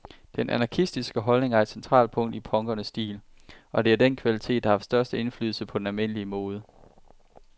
Den anarkistiske holdning er et centralt punkt i punkernes stil, og det er den kvalitet, der har haft størst indflydelse på den almindelige mode.